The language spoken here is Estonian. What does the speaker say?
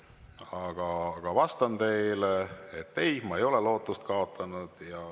Aga vastan teile, et ei, ma ei ole lootust kaotanud.